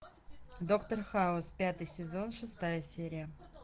доктор хаус пятый сезон шестая серия